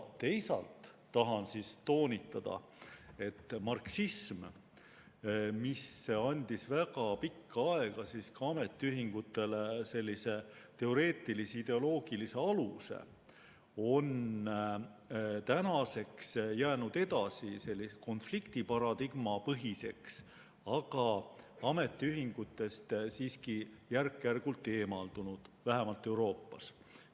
Teisalt tahan toonitada, et marksism, mis andis väga pikka aega ka ametiühingutele teoreetilise ideoloogilise aluse, on tänaseks jäänud edasi konflikti paradigma põhiseks, aga ametiühingutest siiski järk-järgult eemaldunud, vähemalt Euroopas.